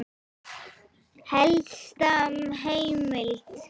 Helsta heimild